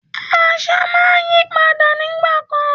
Àṣà máa ń yípadà nígbà kan.